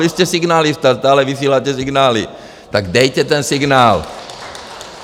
Vy jste signalista, stále vysíláte signály, tak dejte ten signál.